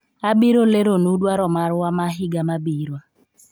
abiro lero nu dwaro marwa ma higa mabiro